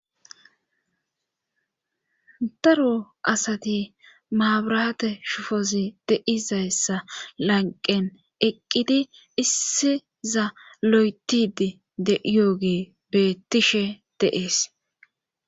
Daro asati maabrate shufozi deizayssa lanqen eqqidi issi za lo7etidi de yoogee beettishe dees.